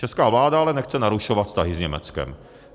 Česká vláda ale nechce narušovat vztahy s Německem.